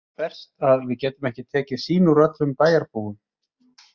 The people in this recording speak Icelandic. Verst að við getum ekki tekið sýni úr öllum bæjarbúum.